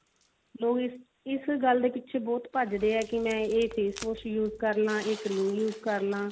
ਲੋਕ ਇਸ ਇਸ ਗੱਲ ਦੇ ਪਿੱਛੇ ਬਹੁਤ ਭੱਜਦੇ ਆ ਕੀ ਮੈਂ ਇਸ face wash use ਕਰ ਲਵਾ ਇਹ cream use ਕਰ ਲਵਾਂ